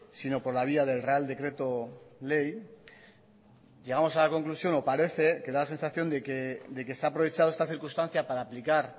sino por la vía del real decreto ley llegamos a la conclusión o parece que da la sensación de que se ha aprovechado esta circunstancia para aplicar